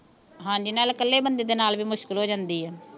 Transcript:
ਹਾਂਜੀ ਨਾਲੇ ਇਕੱਲੇ ਬੰਦੇ ਦੇ ਨਾਲ ਵੀ ਮੁਸ਼ਕਿਲ ਹੋ ਜਾਂਦੀ ਆ